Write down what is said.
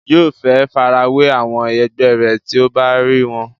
yóò fẹ́ farawé àwọn ẹgbẹ́ rẹ̀ tí ó bá rí wọn